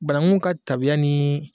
Bananguw ka tabiya ni